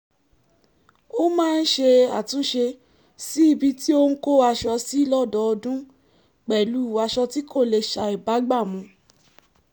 ó máa ń ṣe àtúnṣe sí ibi tí ó ń kó aṣọ sí lọ́dọọdún pẹ̀lú aṣọ tí kò lè ṣàìbágbàmú